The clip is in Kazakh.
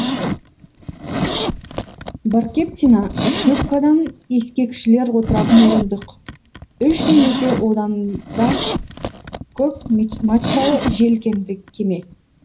баркептина шлюпкада ескекшілер отыратын орындық үш немесе одан да көп мачталы желкенді кеме